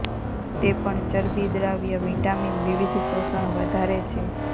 તે પણ ચરબી દ્રાવ્ય વિટામીન વિવિધ શોષણ વધારે છે